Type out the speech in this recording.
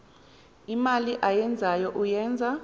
imali ayenzayo uyenza